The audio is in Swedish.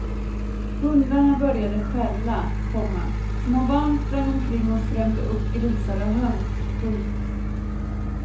Hundarna började skälla, komma små barn sprang omkring och skrämde upp grisar och höns. punkt